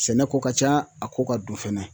Sɛnɛko ka ca a ko ka don fɛnɛ